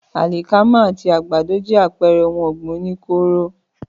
Àlìkámà àti àgbàdo jẹ́ àpẹrẹ ohun ọ̀gbìn oní kóóró